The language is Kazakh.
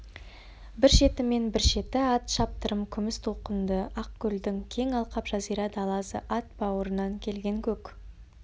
бір шеті мен бір шеті ат шаптырым күміс толқынды ақкөлдің кең алқап жазира даласы ат бауырынан келген көк